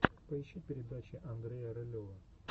поищи передачи андрея рылева